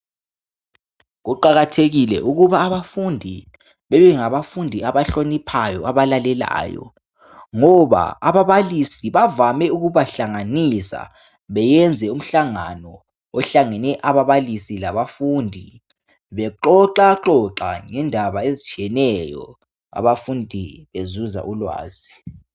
Kuqakathekile ukuthi abafundi babe ngabafundi abahloniphayo labalalelayo. Lapho ababalisi bavame ukubahlanganisa beyenze umhlangano ohlanganisa bona labafundi bexoxaxoxe ngendaba ezitshiyeneyo lapho abafundi bethola ulwazi.